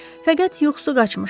Fəqət yuxusu qaçmışdı.